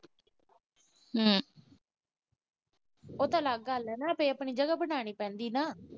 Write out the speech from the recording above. ਉਹ ਤਾਂ ਅੱਲਗ ਗੱਲ ਆ ਨਾ, ਆਪਣੀ ਜਗਾ ਬਣਾਉਣੀ ਪੈਂਦੀ ਆ ਨਾ।